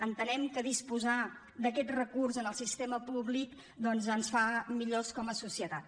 entenem que disposar d’aquest recurs en el sistema públic doncs ens fa millors com a societat